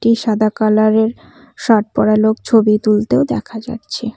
এ সাদা কালার -এর শার্ট পড়া লোক ছবি তুলতেও দেখা যাচ্ছে।